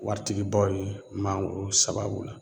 Waritigibaw ye mangoro sababu la